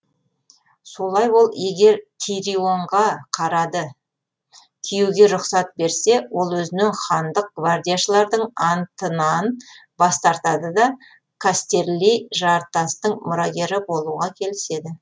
солай ол егер тирионға қарады киюге рұқсат берсе ол өзінен хандық гвардияшылардың анттынаң бас тартады да кастерли жартастың мұрагері болуға келіседі